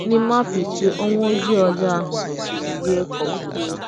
N’ime afọ ise Ọnwụ Ojii ọjọọ ahụ mesịrị yie ka ọ kwụsịwo.